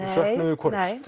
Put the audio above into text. þið hvorugs